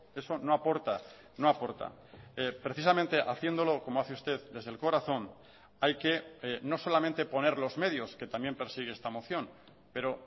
eso no aporta no aporta precisamente haciéndolo como hace usted desde el corazón hay que no solamente poner los medios que también persigue esta moción pero